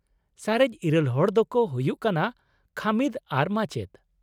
ᱥᱟᱨᱮᱡ ᱤᱨᱟᱹᱞ ᱦᱚᱲ ᱫᱚᱠᱚ ᱦᱩᱭᱩᱜ ᱠᱟᱱᱟ ᱠᱷᱟᱹᱢᱤᱫ ᱟᱨ ᱢᱟᱪᱮᱫ ᱾